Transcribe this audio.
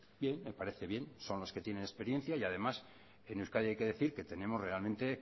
bien me parece bien son los que tienen experiencia y además en euskadi hay que decir que tenemos realmente